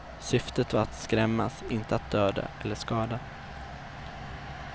Syftet var att skrämmas, inte att döda eller skada.